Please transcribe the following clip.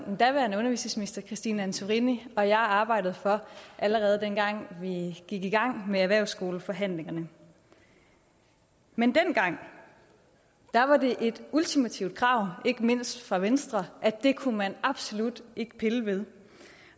den daværende undervisningsminister christine antorini og jeg arbejdede for allerede den gang vi gik i gang med erhvervsskoleforhandlingerne men dengang var det et ultimativt krav ikke mindst fra venstres at det kunne man absolut ikke pille ved